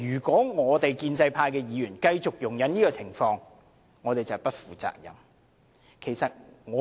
建制派議員如果繼續容忍這種情況，就是不負責任。